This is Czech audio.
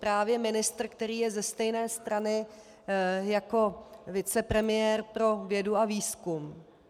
Právě ministr, který je ze stejné strany jako vicepremiér pro vědu a výzkum.